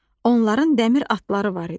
Onların dəmir atları var idi.